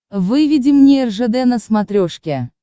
выведи мне ржд на смотрешке